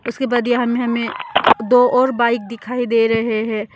उसके बाद ये हम हमें दो और बाइक दिखाई दे रहे है।